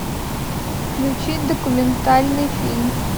включить документальный фильм